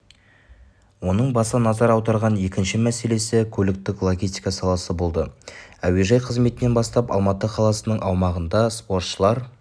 оның баса назар аударған екінші мәселесі көліктік-логистика саласы болды әуежай қызметінен бастап алматы қаласының аумағында спортшылар